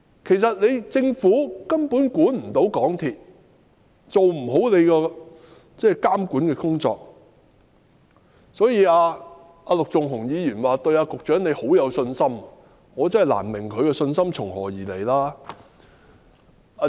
其實，政府根本未能監管港鐵公司，未能做好監管的工作，所以陸頌雄議員說對局長很有信心，我卻真的難以明白他的信心是從何而來。